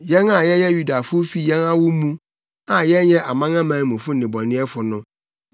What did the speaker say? “Yɛn a yɛyɛ Yudafo fi yɛn awo mu a yɛnyɛ amanamanmufo nnebɔneyɛfo no